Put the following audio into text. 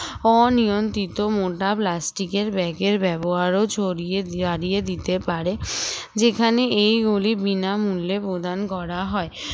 অনিয়ন্ত্রিত মোটা plastic এর bag এর ব্যবহার ও ছড়িয়ে হারিয়ে দিতে পারে যেখানে এইগুলি বিনামূল্যে প্রদান করা হয়